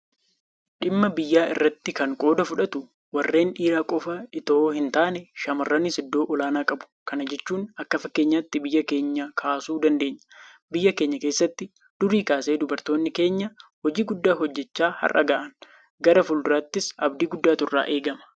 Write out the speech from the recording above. Dhimma biyyaa irratti kan qooda fudhatu warreen dhiiraa qofa itoo hintaane shaamarranis iddoo olaanaa qabu. Kana jechuun akka fakkeenyaatti biyya keenya kaasuu dandeenya. Biyya keenya keessatti durii kaasee dubartoonni keenya hojii guddaa hojjechaa har'a gahan. Gara fuulduraattis abdii guddaatu irraa eegama.